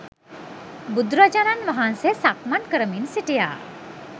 බුදුරජාණන් වහන්සේ සක්මන් කරමින් සිටියා